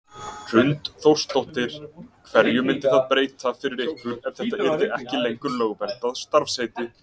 Hrund Þórsdóttir: Hverju myndi það breyta fyrir ykkur ef þetta yrði ekki lengur lögverndað starfsheiti?